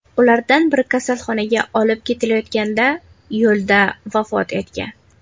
Ulardan biri kasalxonaga olib ketilayotganda yo‘lda vafot etgan.